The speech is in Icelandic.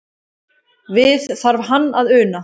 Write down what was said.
Við þarf hann að una.